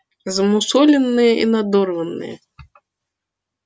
замусоленные и надорванные